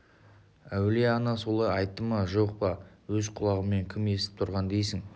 әулие ана солай айтты ма жоқ па өз құлағымен кім естіп тұрған дейсің